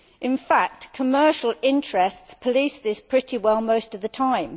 In fact, commercial interests police this pretty well most of the time.